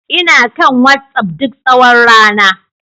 Ina kan WhatsApp duk tsawon rana